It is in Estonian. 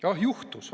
Juhtus!